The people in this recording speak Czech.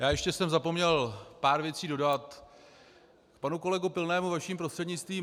Já ještě jsem zapomněl pár věcí dodat k panu kolegovi Pilnému vaším prostřednictvím.